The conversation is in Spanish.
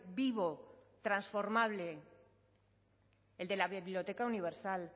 vivo transformable el de la biblioteca universal